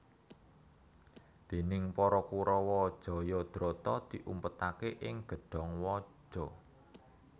Déning para Kurawa Jayadrata diumpetaké ing gedhong waja